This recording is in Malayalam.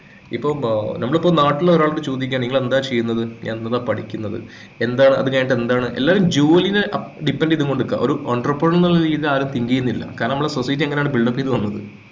ഇപ്പോ ആഹ് നമ്മളിപ്പോ ഇപ്പോ നാട്ടില് ഒരാളോട് ചോദിക്കാണ് നിങ്ങൾ എന്താ ചെയ്യുന്നത് എന്നതാ പഠിക്കുന്നത് എന്താ അത് കഴിഞ്ഞിട്ട് എന്താണ് എല്ലാവരും ജോലിനെ ഏർ depend ചെയ്തുകൊണ്ട് നിക്ക ഒരു entrepreneur എന്നുള്ള രീതിയിൽ ആരും think ചെയ്യുന്നില്ല കാരണം നമ്മൾ society അങ്ങനെയാണ് build up ചെയ്തു വന്നത്